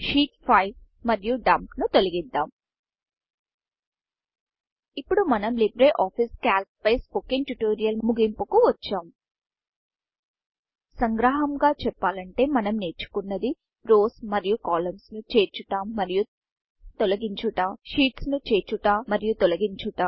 sheets 5 మరియు Dumpడంప్ ను తొలగిద్దాం ఇప్పుడు మనం లిబ్రిఆఫిస్ Calcలిబ్రె ఆఫీస్ క్యాల్క్ పై స్పోకెన్ ట్యూటోరియల్ స్పోకన్ ట్యూటోరియల్ముగింపుకు వచ్చాం సంగ్రహంగా చెప్పాలంటే మనం నేర్చుకున్నది Rowsరోస్ మరియు columnsకాలమ్స్ ను చేర్చుట మరియు తొలగించుట sheetsషీట్స్ ను చేర్చుట మరియు తొలగించుట